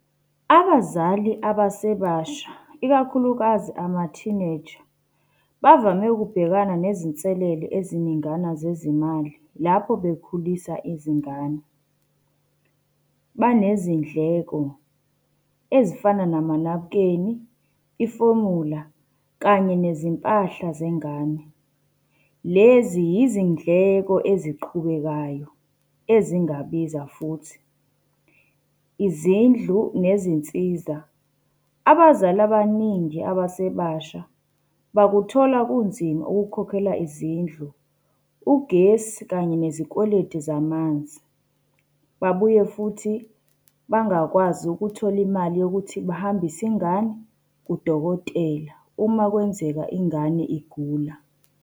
Abazali abasebasha ikakhulukazi ama-teenager, bavame ukubhekana nezinselele eziningana zezimali lapho bekhulisa izingane. Banezindleko ezifana namanabukeni, ifomula, kanye nezimpahla zengane. Lezi yizindleko eziqhubekayo ezingabiza futhi. Izindlu nezinsiza, abazali abaningi abasebasha bakuthola kunzima ukukhokhela izindlu, ugesi kanye nezikweletu, zamanzi. Babuye futhi bangakwazi ukuthola imali yokuthi bahambise ingane kudokotela, uma kwenzeka ingane igula.